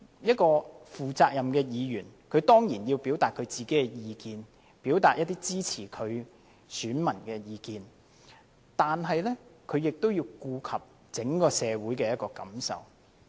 一個負責任的議員當然要表達自己的意見，表達支持他的選民的意見，但是亦要顧及整體社會的感受。